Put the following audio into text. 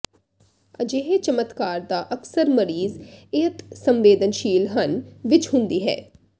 ਅਜਿਹੇ ਚਮਤਕਾਰ ਦਾ ਅਕਸਰ ਮਰੀਜ਼ ਅਿਤਸੰਵੇਦਨਸ਼ੀਲ ਹਨ ਵਿੱਚ ਹੁੰਦੀ ਹੈ